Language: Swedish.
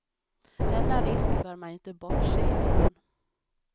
Denna risk bör man inte bortse ifrån.